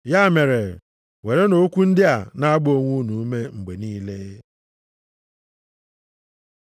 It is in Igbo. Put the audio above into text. Ya mere, werenụ okwu ndị a, na-agba onwe unu ume mgbe niile.